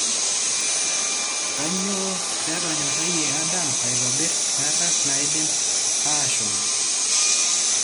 Kanyio petonyorayie Adam aitobir garag naidim ashomo?